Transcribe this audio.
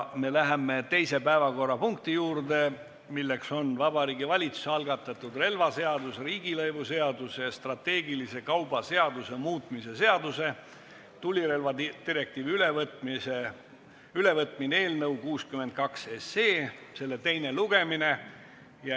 Me läheme teise päevakorrapunkti juurde, milleks on Vabariigi Valitsuse relvaseaduse, riigilõivuseaduse ja strateegilise kauba seaduse muutmise seaduse eelnõu 62 teine lugemine.